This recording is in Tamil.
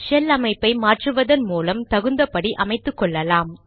ஷெல் அமைப்பை மாற்றுவதன் மூலம் தகுந்தபடி அமைத்துக்கொள்ளலாம்